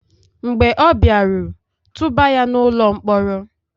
mb͕e ọ biaru, tubà ya n'ulo-nkpọrọ!